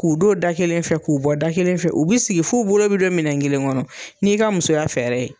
K'u don da kelen fɛ k'u bɔ da kelen fɛ u bi sigi f'u bolo bi don minɛn kelen kɔnɔ n'i ka musoya fɛɛrɛ ye.